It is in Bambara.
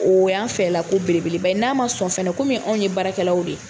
O y'an fɛ la ko belebeleba ye. N'a ma sɔn fɛnɛ, anw ye baarakɛlaw de ye